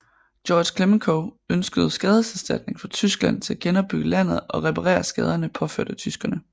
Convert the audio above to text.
Georges Clemenceau ønskede skadeserstatning fra Tyskland til at genopbygge landet og reparere skaderne påført af tyskerne